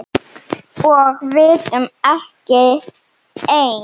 Og vitum ekki enn.